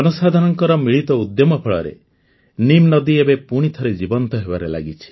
ଜନସାଧାରଣଙ୍କ ମିଳିତ ଉଦ୍ୟମ ଫଳରେ ନୀମ୍ ନଦୀ ଏବେ ପୁଣି ଥରେ ଜୀବନ୍ତ ହେବାରେ ଲାଗିଛି